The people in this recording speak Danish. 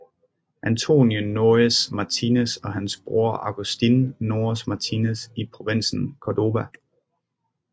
Antonio Nores Martinez og hans bror Augustin Nores Martinez i provinsen Córdoba